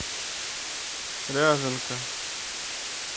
ряженка